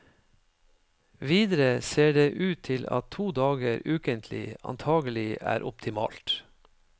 Videre ser det ut til at to dager ukentlig antagelig er optimalt.